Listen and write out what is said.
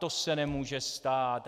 To se nemůže stát.